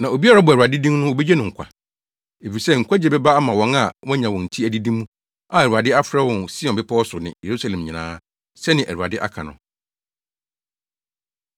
Na obiara a ɔbɔ Awurade din no, wobegye no nkwa. Efisɛ nkwagye bɛba ama wɔn a wɔanya wɔn ti adidi mu a Awurade afrɛ wɔn wɔ Sion bepɔw so ne Yerusalem nyinaa,” sɛnea Awurade aka no.